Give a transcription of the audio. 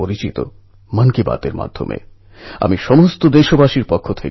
যোধপুর AIIMSএর MBBSপরীক্ষায় প্রথম চেষ্টাতেই সে পাশ করে গেছে